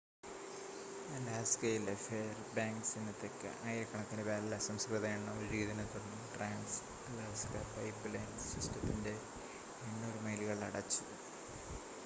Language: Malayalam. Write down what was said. അലാസ്കയിലെ ഫെയർബാങ്ക്‌സിന് തെക്ക് ആയിരക്കണക്കിന് ബാരൽ അസംസ്കൃത എണ്ണ ഒഴുകിയതിനെ തുടർന്ന് ട്രാൻസ്-അലാസ്ക പൈപ്പ്‌ലൈൻ സിസ്റ്റത്തിൻ്റെ 800 മൈലുകൾ അടച്ചു